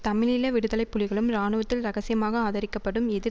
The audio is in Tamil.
தமிழீழ விடுதலை புலிகளும் இராணுவத்தில் இரகசியமாக ஆதரிக்கப்படும் எதிர்